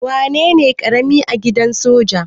Wanene karami a gidan soja?